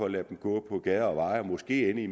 at lade dem gå på gader og veje for måske at ende